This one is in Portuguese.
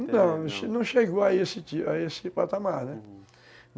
Não, não chegou a esse a esse patamar, né?